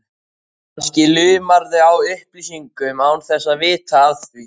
Kannski lumarðu á upplýsingum án þess að vita af því.